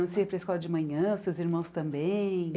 Você ia para a escola de manhã, os seus irmãos também?